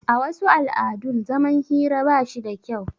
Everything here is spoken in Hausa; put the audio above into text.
A wasu al'adun zaman hira bashi da kyau